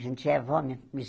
A gente já é vó.